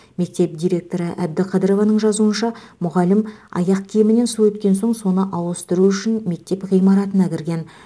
мектеп директоры әбдіқадырованың жазуынша мұғалім аяқ киімінен су өткен соң соны ауыстыру үшін мектеп ғимаратына кірген